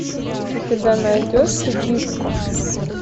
у тебя найдется диско